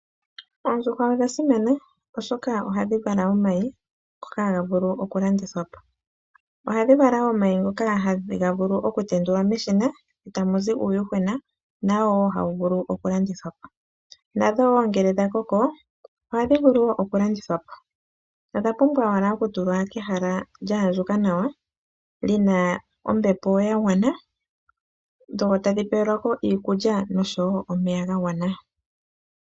Oondjuhwa odha simana oshoka ohadhi vala oomayi ngoka haga vulu oku landithwa po. Ohadhi vala wo oomayi ngoka haga vulu oku tendulwa meshina tamuzi uuyuhwena nawo wo hawu vulu oku landithwa po. Nadho wo ngele dha koko ohadhi vulu wo oku landithwa po. Odha pumbwa owala oku tulwa pehala lya andjuka nawa lina ombepo yagwana dho tadhi pelwako iikulya noshowo omeya gagwana.